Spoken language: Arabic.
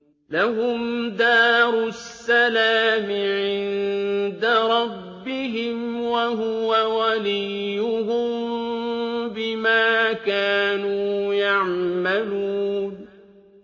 ۞ لَهُمْ دَارُ السَّلَامِ عِندَ رَبِّهِمْ ۖ وَهُوَ وَلِيُّهُم بِمَا كَانُوا يَعْمَلُونَ